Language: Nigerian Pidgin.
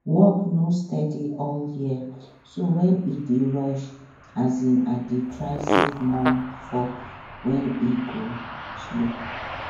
work no steady all year so when e dey rush um i dey try save more for when e go slow